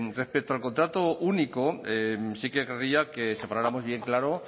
respecto al contrato único sí que querría que separáramos bien claro